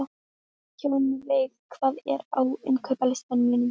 Hjálmveig, hvað er á innkaupalistanum mínum?